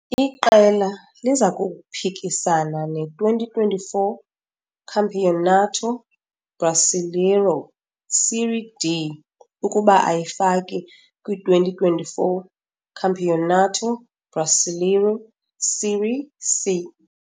Iqela liza kuphikisana ne-2024 Campeonato Brasileiro - "Série D" ukuba ayifaki kwi-2024 Campeonato Brasileiro - "Série C."